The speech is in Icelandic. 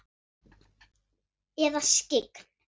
Eða skyggn?